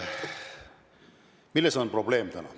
Milles on täna probleem?